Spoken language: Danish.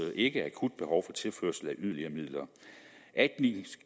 ikke akut behov for tilførsel af yderligere midler